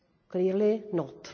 Clearly not.